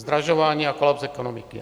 Zdražování a kolaps ekonomiky.